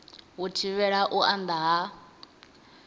u thivhela u anda ha